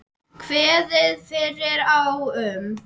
Kveðið yrði á um